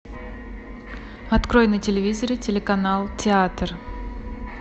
открой на телевизоре телеканал театр